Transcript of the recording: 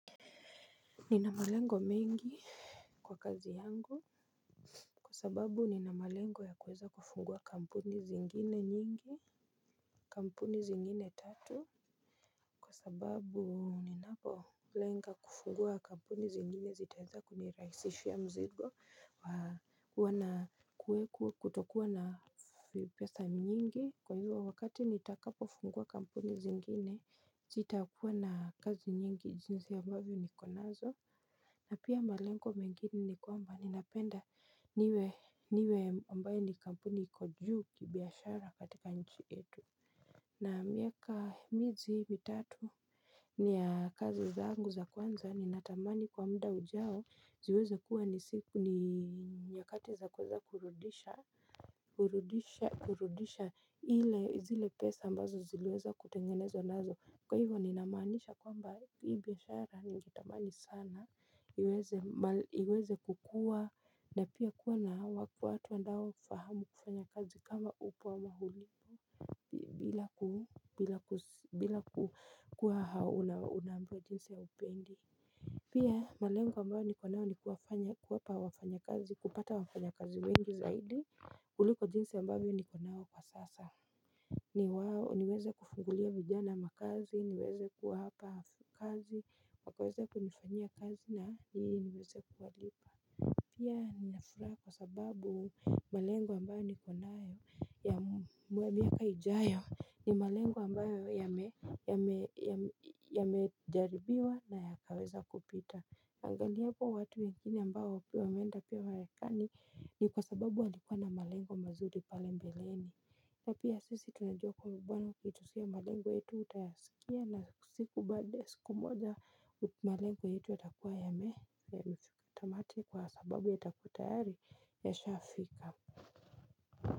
Ninamalengo mengi kwa kazi yangu kwa sababu ninamalengo ya kuweza kufungua kampuni zingine nyingi. Kampuni zingine tatu kwa sababu ninapoLenga kufungua kampuni zingine zitaeza kunirahisishia mzigo huwa na kuweku kutokuwa na pesa nyingi. Kwa hivyo wakati nitakapofungua kampuni zingine zitakuwa na kazi nyingi jinsi ambavyo niko nazo. Na pia malengo mengine ni kwamba ninapenda niwe ambaye ni kampuni iko juu kibiashara katika nchi etu. Na miaka mizi mitatu ni ya kazi zangu za kwanza ni natamani kwa muda ujao ziweze kuwa ni siku ni nyakati za kuweza kurudisha. Kurudisha kurudisha ile zile pesa ambazo ziliweza kutengenezwa nazo. Kwa hivyo ninamaanisha kwamba hii biashara ningetamani sana iweze kukua na pia kuwa na watu wandao kufahamu kufanya kazi kama upo ama bila ku bila ku bila ku ku unaambiwa jinsi haupendi. Pia malengo ambayo niko nayo ni kuwapa wafanyakazi kupata wafanyakazi wengi zaidi kuliko jinsi ambavyo niko nao kwa sasa niweze kufungulia vijana makazi niweze kuwapa kazi wakaweza kunifanyia kazi na ili niweze kuwalipa pia ninafuraha kwa sababu malengo ambayo niko nayo ya miaka ijayo ni malengo ambayo yamejaribiwa na yakaweza kupita angaliapo watu wengine ambao wameenda pia warekani ni kwa sababu walikuwa na malengo mazuri pale mbeleni. Na pia sisi tunajua kwamba kwamba bwana kitu si ya malengo yetu utayasikia na siku baada ya siku moja malengo yetu yatakuwa yameza tamati sababu yatakuwa tayari yashafika.